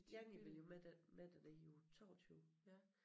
Janni ville jo med der med derned i uge 22